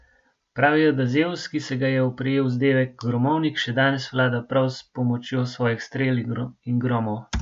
Pravijo, da Zevs, ki se ga je oprijel vzdevek gromovnik, še danes vlada prav s pomočjo svojih strel in gromov.